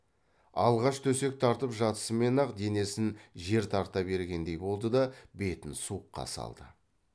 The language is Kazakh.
алғаш төсек тартып жатысымен ақ денесін жер тарта бергендей болды да бетін суыққа салды